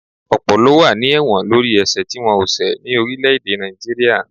Ọ̀pọ̀ ló wà ní ẹ̀wọ̀n lórí ẹ̀sẹ̀ tí wọ́n ò ṣẹ̀ ni orílé-èdè Naijiria